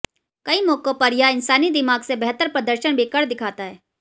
कई मौकों पर यह इंसानी दिमाग से बेहतर प्रदर्शन भी कर दिखाता है